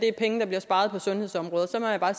er penge der bliver sparet på sundhedsområdet så må jeg bare